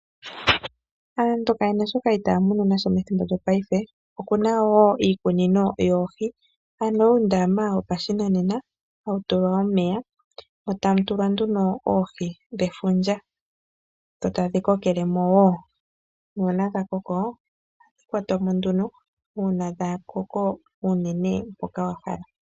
Aantu keya na shoka itaa munu nasho methimbo lyongaashingeyi opu na uundama yopashigwana woohi hawu tulwa omeya mo tamu tulwa oohi dhefundja e tadhi kokelemo uuna dha koko ohadhi kwa twamo uuna dha koko unene mpoka wa hala.